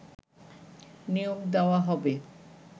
নিয়োগ দেয়া হবে